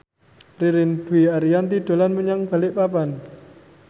Ririn Dwi Ariyanti dolan menyang Balikpapan